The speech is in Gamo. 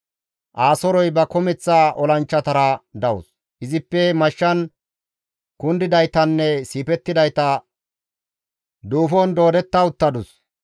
«Asoorey ba kumeththa olanchchatara dawus; izippe mashshan kundidaytanne siifettidayta duufon doodetta uttadus.